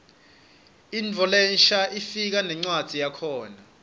intfo lensha ifika nencwadzi yakhona